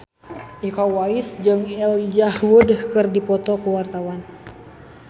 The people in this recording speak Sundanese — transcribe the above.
Iko Uwais jeung Elijah Wood keur dipoto ku wartawan